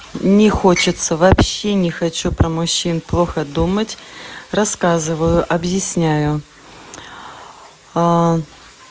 не хочется вообще не хочу про мужчин плохо думать рассказываю объясняю